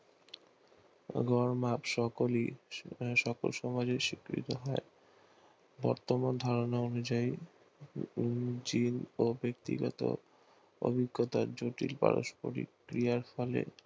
এবং সকলই সফল সমাজে সিকৃত হয় বর্তমান ধারণা অনুযায়ী জিন বা ব্যাক্তি গত অভিজ্ঞতা জটিল পারস্পরিক ক্রিয়ার ফলে